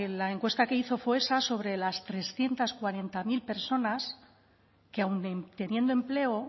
la encuesta que hizo fue esa sobre las trescientos cuarenta mil personas que aun teniendo empleo